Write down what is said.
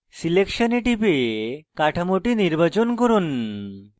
selection এ টিপে কাঠামোটি নির্বাচন করুন